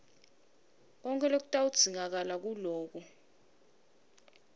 konkhe lokutawudzingakala nguloku